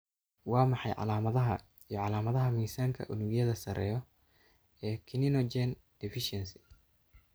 Waa maxay calamadaha iyo calaamadaha miisaanka unugyadu sareeyo ee kininogen deficiency?